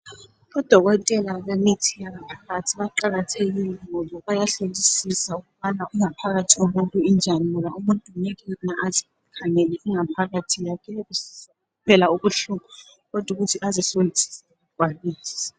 Udokotela bemithi yangaphakathi baqakathekile ngoba bayahlolisisa ukubana ingaphakathi yomuntu injani ngoba umuntu ngeke azikhangele ingaphakathi yakhe esizwa ubuhlungu kodwa ukuthi azihlolisise kakwanisi.